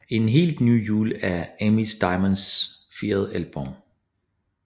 En helt ny jul er Amy Diamonds fjerde album